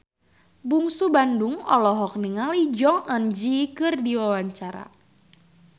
Bungsu Bandung olohok ningali Jong Eun Ji keur diwawancara